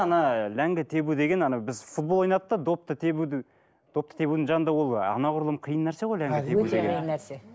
ана ләңгі тебу деген ана біз футбол ойнадық та допты тебуді допты тебудің жанында ол анағұрлым қиын нәрсе ғой ләңгі тебу деген нәрсе